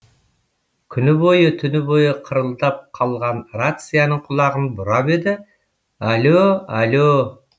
күні бойы түні бойы қырылдап қалған рацияның құлағын бұрап еді әлө әлө